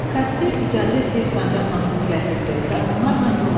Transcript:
Kassir icazə istəyib sancaqla pulu gətirdi və onlarla yola düşdü.